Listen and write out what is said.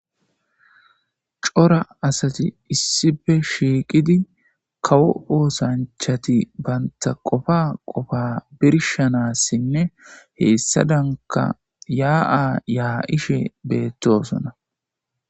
cora asati issife shiiqidi kawo oosanchati baynta qofa qofa birshanassinne heessadanka yaa7a yaa7ishe beettosona